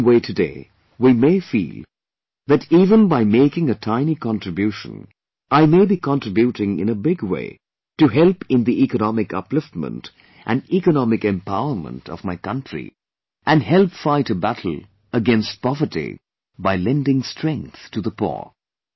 In the same way today we may feel that even by making a tiny contribution I may be contributing in a big way to help in the economic upliftment and economic empowerment of my country and help fight a battle against poverty by lending strength to the poor